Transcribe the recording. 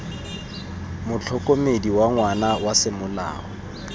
motlhokomedi wa ngwana wa semolao